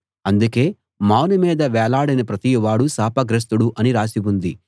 అందుకే మాను మీద వేలాడిన ప్రతివాడూ శాపగ్రస్తుడు అని రాసి ఉంది